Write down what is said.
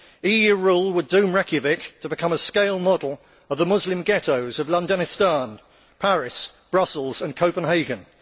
EU rule would doom Reykjavik to becoming a scale model of the Muslim ghettos of Londonistan', Paris, Brussels and Copenhagen!